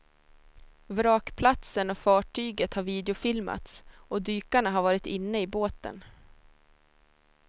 Vrakplatsen och fartyget har videofilmats och dykarna har varit inne i båten.